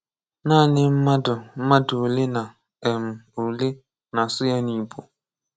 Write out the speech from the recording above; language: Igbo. Naànị mmádụ mmádụ òlé nà um òlé na-ásụ ya n’Ìgbò.